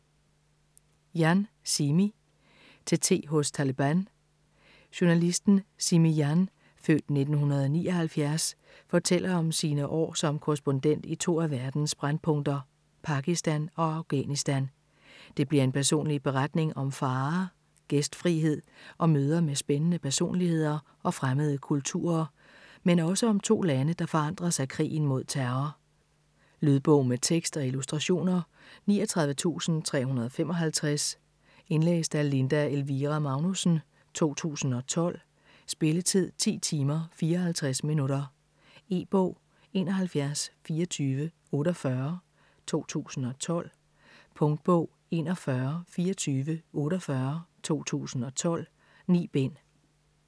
Jan, Simi: Til te hos Taleban Journalisten Simi Jan (f. 1979) fortæller om sine år som korrespondent i to af verdens brændpunkter, Pakistan og Afghanistan. Det bliver en personlig beretning om farer, gæstfrihed og møder med spændende personligheder og fremmede kulturer, men også om to lande, der forandres af krigen mod terror. Lydbog med tekst og illustrationer 39355 Indlæst af Linda Elvira Magnussen, 2012. Spilletid: 10 timer, 54 minutter. E-bog 712448 2012. Punktbog 412448 2012. 9 bind.